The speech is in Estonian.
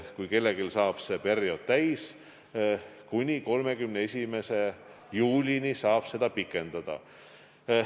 Kui kellelgi saab see periood täis, siis võib seda kuni 31. juulini pikendada.